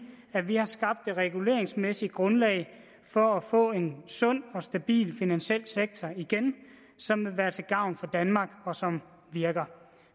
har skabt et reguleringsmæssigt grundlag for at få en sund og stabil finansiel sektor igen som vil være til gavn for danmark og som virker